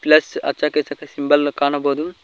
Plus ಅಚ ಕಿಚಕ symbol ಅನ್ನು ಕಾಣಬೋದು.